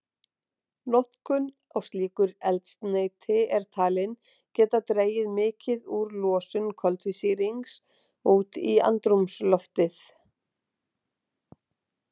Notkun á slíku eldsneyti er talin geta dregið mikið úr losun koltvísýrings út í andrúmsloftið.